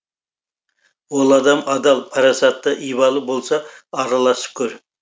ол адам адал парасатты ибалы болса араласып көр